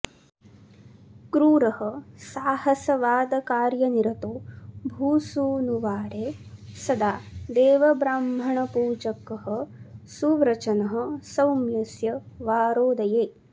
क्रूरः साहसवादकार्यनिरतो भूसूनुवारे सदा देवब्राह्मणपूजक्ः सुव्रचनः सौम्य्स्य वारोदये